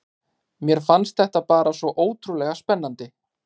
Mér fannst þetta bara svo ótrúlega spennandi.